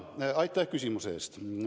Aitäh küsimuse eest!